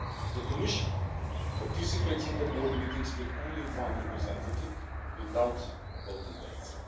The Commission participates in the board meetings with only one representative, without voting rights.